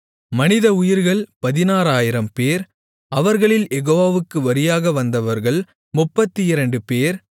மனிதஉயிர்கள் 16000 பேர் அவர்களில் யெகோவாவுக்கு வரியாக வந்தவர்கள் 32 பேர்